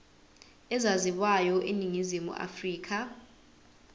ezaziwayo eningizimu afrika